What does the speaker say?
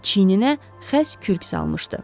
Çiyininə xəss kürk salmışdı.